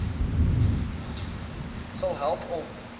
sal help om